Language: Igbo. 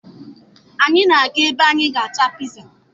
Anyị na-aga ebe anyị ga-ata piza